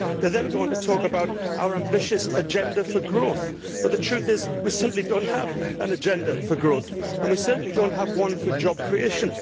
The conclusions go on to talk about our ambitious agenda for growth', but the truth is we simply do not have an agenda for growth and we certainly do not have one for job creation.